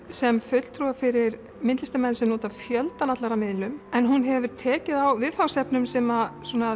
sem fulltrúa fyrir myndlistarmenn sem nota fjöldan allan af miðlum en hún hefur tekið á viðfangsefnum sem